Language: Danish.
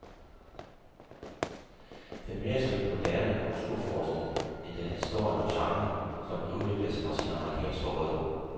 Den er mere et stykke moderne kulturforskning, end den er historien om genren, som den udviklede sig fra sine amerikanske rødder.